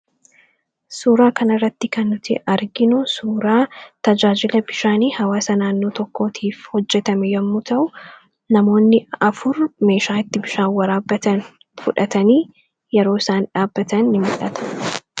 Suuraa kanarratti kan nuti arginu suuraa tajaajila bishaanii hawaasa naannoo tokkootiif hojjetame yommuu ta'u, namoonni afur meeshaa itti bishaan waraabbatan fudhatanii yeroo isaan dhaabbatan ni mul'ata.